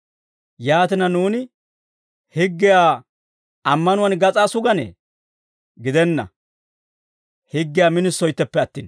Yaatina, nuuni higgiyaa ammanuwaan gas'aa suganee? Gidenna; higgiyaa minisoytteppe attin.